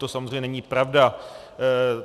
To samozřejmě není pravda.